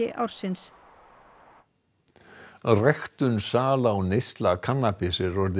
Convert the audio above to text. ársins ræktun sala og neysla kannabis er orðin